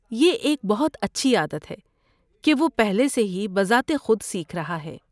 یہ ایک بہت اچھی عادت ہے کہ وہ پہلے سے ہی بذات خود سیکھ رہا ہے۔